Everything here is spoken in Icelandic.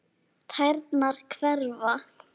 Tærnar hverfa.